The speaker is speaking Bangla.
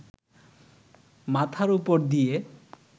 মাথার ওপর দিয়ে